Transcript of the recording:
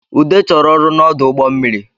Ude chọrọ ọrụ n’ọdụ ụgbọ mmiri